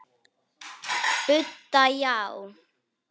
Budda: Já.